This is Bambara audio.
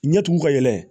Ɲɛtugu ka yɛlɛ